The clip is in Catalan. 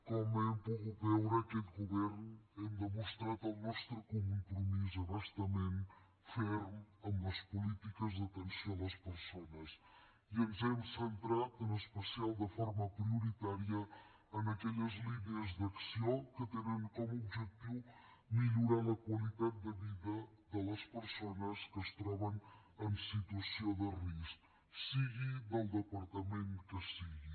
com hem pogut veure aquest govern hem demostrat el nostre compromís a bastament ferm amb les polítiques d’atenció a les persones i ens hem centrat en especial de forma prioritària en aquelles línies d’acció que tenen com a objectiu millorar la qualitat de vida de les persones que es troben en situació de risc sigui des del departament que sigui